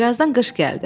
Birazdan qış gəldi.